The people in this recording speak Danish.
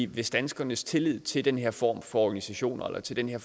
hvis danskernes tillid til den her form for organisation eller til den her